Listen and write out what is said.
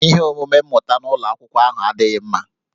Ihe omume mmụta n'ụlọ akwụkwọ ahụ adịghị mma